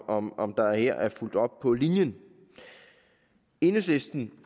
om om der her er fulgt op på linjen enhedslisten